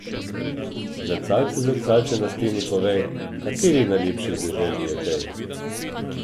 Zrcalce, zrcalce na steni, povej, kateri najlepši v deželi je tej...